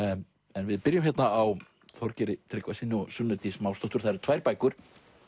en við byrjum á Þorgeiri Tryggvasyni og Sunnu Dís Másdóttur það eru tvær bækur